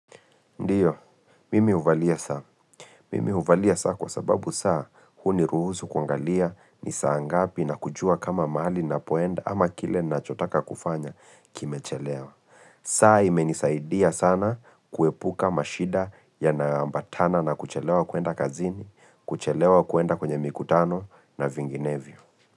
Ndiyo, mimi huvalia saa. Mimi huvalia saa kwa sababu saa, huniruhusu kuangalia nisaa ngapi na kujua kama mali napoenda ama kile nachotaka kufanya kimechelewa. Saa imenisaidia sana kuepuka mashida yanayoambatana na kuchelewa kuenda kazini, kuchelewa kuenda kwenye mikutano na vinginevyo.